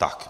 Tak.